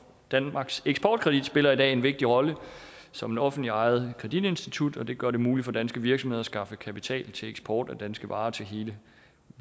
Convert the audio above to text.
danmarks eksportkredit spiller i dag en vigtig rolle som et offentligt ejet kreditinstitut og det gør det muligt for danske virksomheder at skaffe kapital til eksport af danske varer til hele